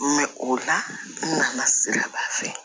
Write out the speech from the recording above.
o la n nana siraba fɛ